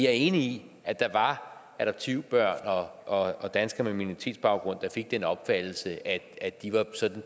er enig i at der var adoptivbørn og og danskere med minoritetsbaggrund der fik den opfattelse at at de